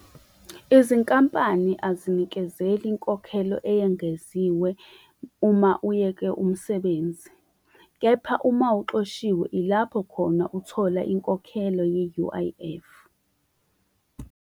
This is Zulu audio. Izinkampani azinikezeli inkokhelo eyengeziwe uma uyeke umsebenzi. Kepha uma uxoshiwe ilapho khona uthola inkokhelo ye-U_I_F.